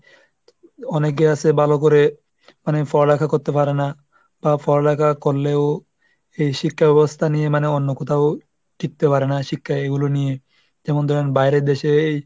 অনেকে আসে ভালো করে মানে পড়ালেখা করতে পারে না। বা পড়ালেখা করলেও এই শিক্ষা ব্যবস্থা নিয়ে মানে অন্য কোথাও শিখতে পারেনা। শিক্ষা এগুলো নিয়ে যেমন ধরেন বাইরের দেশে এই,